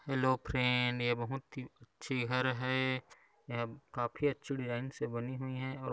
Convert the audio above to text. hello friend ये बहुत ही अच्छी घर है यह काफी अच्छी डिजाइन से बनी हुई है और--